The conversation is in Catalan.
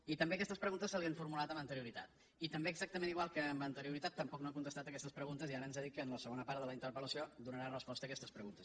i també aquestes preguntes se li han formulat amb anterioritat i també exactament igual que amb anterioritat tampoc no ha contestat aquestes preguntes i ara ens ha dit que en la segona part de la interpellació donarà resposta a aquestes preguntes